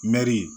Mɛri